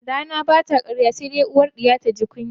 Rana bata karya sai dai uwar 'ya taji kunya.